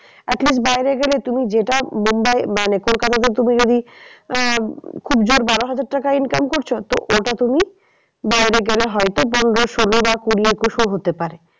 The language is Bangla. At least বাইরে গেলে তুমি যেটা মুম্বাই মানে কলকাতাতে তুমি যদি আহ খুব জোর বারো হাজার টাকা income করছো তো ওটা তুমি বাইরে গেলে হয়তো পনেরো ষোলো বা কুড়ি একুশ ও হতে পারে।